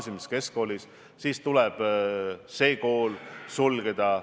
Loomulikult see ei lahenda kogu seda nakkusprobleemi, aga ma usun, et tema mõte oli enda immuunsuse tugevdamine.